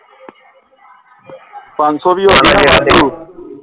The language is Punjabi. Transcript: ਪੰਜ ਸੋ ਵੀ